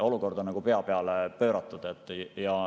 Olukord on nagu pea peale pööratud.